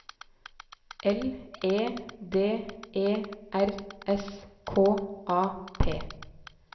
L E D E R S K A P